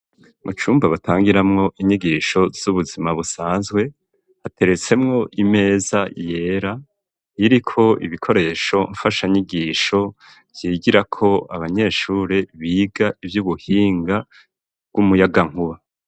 Mu cumba batangiramwo inyigisho ,z'ubuzima busanzwe, hateretsemwo imeza yera, iriko ibikoresho mfasha nyigisho vyigirako abanyeshuri ,biga ivy'ubuhinga bw'umuyagankuba.